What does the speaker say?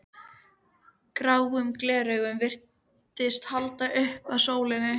Gráum gleraugum virtist haldið upp að sólinni.